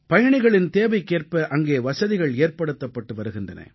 பயணிகளின் தேவைக்கேற்ப அங்கே வசதிகள் ஏற்படுத்தப்பட்டு வருகின்றன